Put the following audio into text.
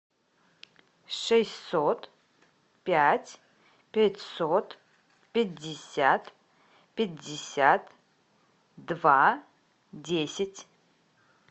шестьсот пять пятьсот пятьдесят пятьдесят два десять